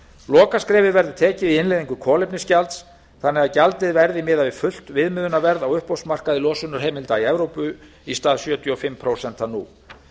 lokaskrefið verður tekið í innleiðingu kolefnisgjalds þannig að gjaldið verði miðað við fullt viðmiðunarverð á uppboðsmarkaði losunarheimilda í evrópu í stað sjötíu og fimm prósent nú